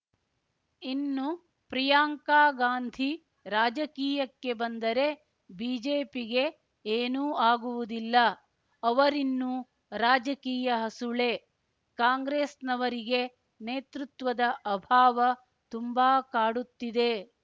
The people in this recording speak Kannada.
ಇನ್ನು ಪ್ರಿಯಾಂಕಾ ಗಾಂಧಿ ರಾಜಕೀಯಕ್ಕೆ ಬಂದರೆ ಬಿಜೆಪಿಗೆ ಏನೂ ಆಗುವುದಿಲ್ಲ ಅವರಿನ್ನೂ ರಾಜಕೀಯ ಹಸುಳೆ ಕಾಂಗ್ರೆಸ್‌ನವರಿಗೆ ನೇತೃತ್ವದ ಅಭಾವ ತುಂಬಾ ಕಾಡುತ್ತಿದೆ